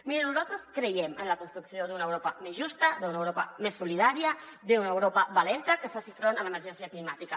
miri nosaltres creiem en la construcció d’una europa més justa d’una europa més solidària d’una europa valenta que faci front a l’emergència climàtica